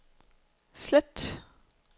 slet